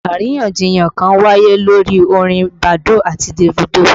Àríyànjiyàn kan wáyé lórí orin Badoo àti Davido